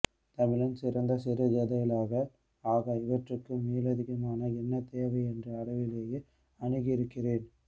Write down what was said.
தமிழின் சிறந்த சிறுகதைகளாக ஆக இவற்றுக்கு மேலதிகமான என்ன தேவை என்ற அளவிலேயே அணுகியிருக்கிறேன்